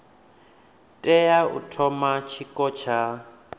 tea u thoma tshiko tsha